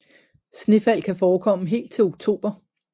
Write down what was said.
Snefald kan forekomme helt til oktober